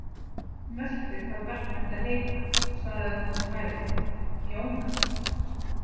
Mörtu hvað barnið ætti að heita, svaraði hún með hægð: Jóna.